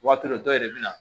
Waati dɔ dɔw yɛrɛ bɛ na